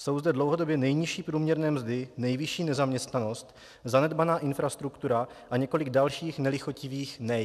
Jsou zde dlouhodobě nejnižší průměrné mzdy, nejvyšší nezaměstnanost, zanedbaná infrastruktura a několik dalších nelichotivých nej.